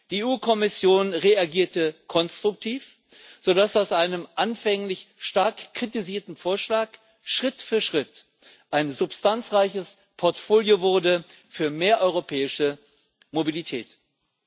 Die EU Kommission reagierte konstruktiv, sodass aus einem anfänglich stark kritisierten Vorschlag Schritt für Schritt ein substanzreiches Portfolio für mehr europäische Mobilität wurde.